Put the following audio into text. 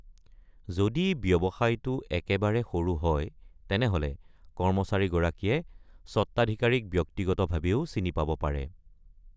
যদি ব্যৱসায়টো একেবাৰে সৰু হয়, তেনেহ’লে কৰ্মচাৰী গৰাকীয়ে স্বত্বাধিকাৰীক ব্যক্তিগতভাবেও চিনি পাব পাৰে।